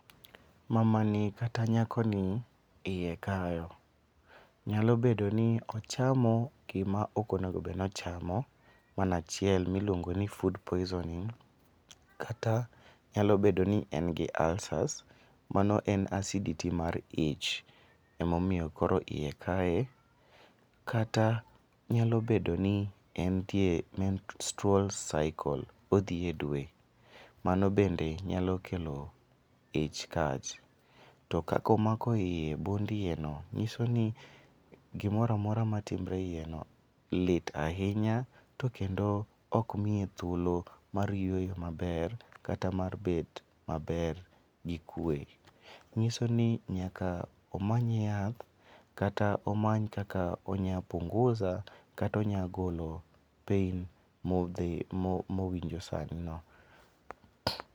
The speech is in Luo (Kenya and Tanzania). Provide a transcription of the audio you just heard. Mama ni kata nyakoni iye kayo, nyalo bedo ni ochamo gima ok onego obedo ni ochamo, mano achiel ma iluongo ni food poisoning kata nyalo bedo ni en gi ulcers mano acidity mar ich emomiyo koro iye kaye, kata nyalo bedo ni en tie menstrual circle, odhi e dwe, mano bende nyalo kelo ich kach, to kako mako iye bund iyeno nyiso ni gimora mora matimre iyeno lit ahinya kendo ok miye thuolo mar yweyo maber kata mar bet maber gi kwe. nyiso ni nyaka omany yath kata omany kaka onya punguza kata onya golo pain mowinjo sanino.